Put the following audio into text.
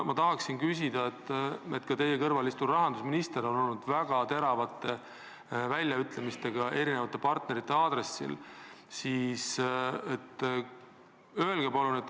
Ka teie kõrval istuv rahandusminister on esinenud väga teravate väljaütlemistega, mis on puudutanud eri partnereid.